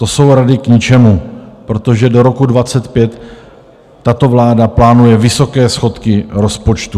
To jsou rady k ničemu, protože do roku 2025 tato vláda plánuje vysoké schodky rozpočtu.